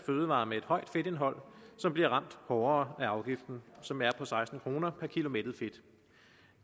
fødevarer med et højt fedtindhold som bliver ramt hårdere af afgiften som er på seksten kroner per kg mættet fedt